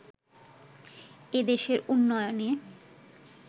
এ দেশের উন্নয়নে